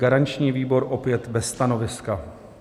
Garanční výbor: opět bez stanoviska.